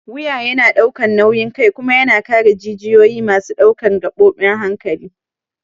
Wuya yana ɗaukan nauyin kai kuma yana kare jijiyoyi masu ɗaukar gabobin hankali.